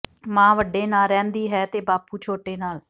ਮਾਂ ਵੱਡੇ ਨਾਲ ਰਹਿੰਦੀ ਹੈ ਤੇ ਬਾਪੂ ਛੋਟੇ ਨਾਲ